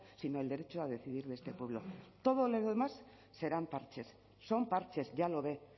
sino el derecho a decidir de este pueblo todo lo demás serán parches son parches ya lo ve